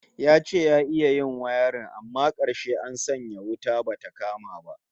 Ya ce ya iya yin wayarin amma karshe an sanya wuta bata kama ba